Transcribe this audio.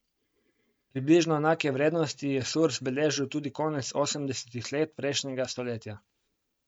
Približno enake vrednosti je Surs beležil tudi konec osemdesetih let prejšnjega stoletja.